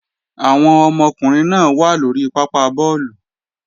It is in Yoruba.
Àwọn ọmọkùnrin náà wà lóri pápá bọ́ọ̀lù